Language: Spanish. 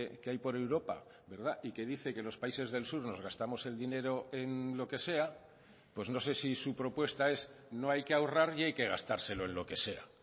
que hay por europa y que dice que los países del sur nos gastamos el dinero en lo que sea pues no sé si su propuesta es no hay que ahorrar y hay que gastárselo en lo que sea